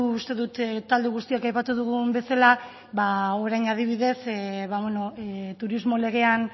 uste dut talde guztiek aipatu dugun bezala orain adibidez turismo legean